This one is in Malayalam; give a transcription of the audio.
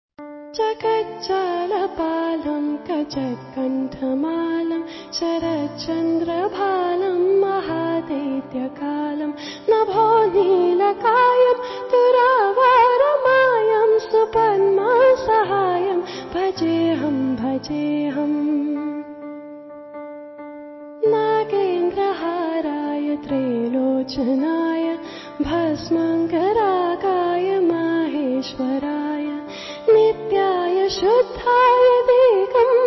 MKB EP 105 audio byte 1